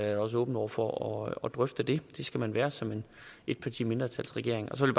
jeg også åben over for at drøfte det det skal man være som en et parti mindretalsregering så vil